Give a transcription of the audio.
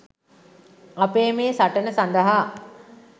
අපේ මේ සටන සඳහා